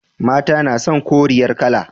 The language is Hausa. Mata na son koriyar kala.